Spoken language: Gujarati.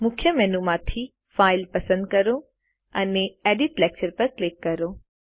મુખ્ય મેનુ માંથી ફાઇલ પસંદ કરો અને એડિટ લેક્ચર પર ક્લિક કરો